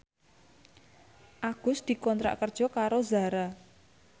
Agus dikontrak kerja karo Zara